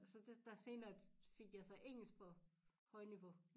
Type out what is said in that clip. Så det der senere fik jeg så engelsk på højniveau